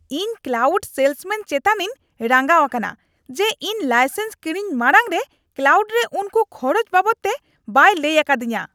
ᱤᱧ ᱠᱞᱟᱣᱩᱰ ᱥᱮᱞᱥᱟᱢᱮᱱ ᱪᱮᱛᱟᱱᱤᱧ ᱨᱟᱸᱜᱟᱣ ᱟᱠᱟᱱᱟ ᱡᱮ ᱤᱧ ᱞᱟᱭᱥᱮᱱᱥ ᱠᱤᱨᱤᱧ ᱢᱟᱲᱟᱝ ᱨᱮ ᱠᱞᱟᱣᱩᱰ ᱨᱮ ᱩᱠᱩ ᱠᱷᱚᱨᱚᱪ ᱵᱟᱵᱚᱫᱛᱮ ᱵᱟᱭ ᱞᱟᱹᱭ ᱟᱠᱟᱫᱤᱧᱟᱹ ᱾